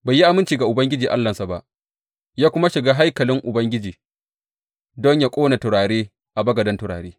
Bai yi aminci ga Ubangiji Allahnsa ba, ya kuma shiga haikalin Ubangiji don yă ƙone turare a bagaden turare.